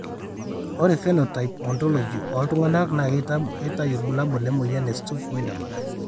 Ore Phenotype Ontology ooltung'anak naa keitayu irbulabol le moyian e Stuve Wiedemann.